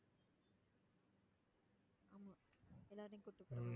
ஆமா, எல்லாரையும் கூட்டிட்டு போற மாதிரி தான்.